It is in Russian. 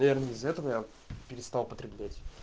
наверное из-за этого я перестал потреблять